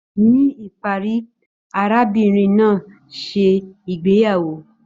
Ní ìparí, arábìnrin náà ṣe ìgbéyàwó.